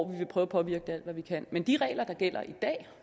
vil prøve at påvirke alt hvad vi kan men de regler der gælder i dag